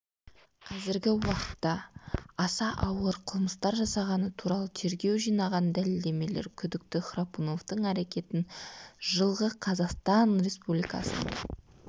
қазіргі уақытта аса ауыр қылмыстар жасағаны туралы тергеу жинаған дәлелдемелер күдікті храпуновтың әрекетін жылғы қазақстан республикасының